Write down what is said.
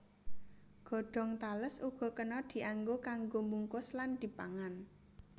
Godhong tales uga kena dianggo kanggo mbungkus lan dipangan